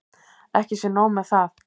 Ekki sé nóg með það.